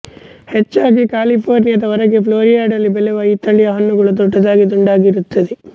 ಹೆಚ್ಚಾಗಿ ಕ್ಯಾಲಿಫೋರ್ನಿಯಾದ ಹೊರಗೆ ಫ್ಲೋರಿಡಾದಲ್ಲಿ ಬೆಳೆಯುವ ಈ ತಳಿಯ ಹಣ್ಣುಗಳು ದೊಡ್ಡದಾಗಿ ದುಂಡಗಾಗಿರುತ್ತವೆ